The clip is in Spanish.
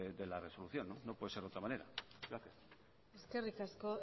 de la resolución no puede ser de otra manera gracias eskerrik asko